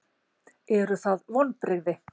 Eru það vonbrigði?